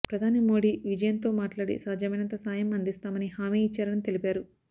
ప్రధాని మోడీ విజయన్తో మాట్లాడి సాధ్యమైనంత సాయం అందిస్తామని హామీ ఇచ్చారని తెలిపారు